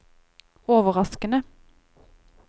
overraskende